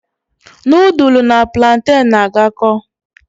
Nudulu na pulanten n'agako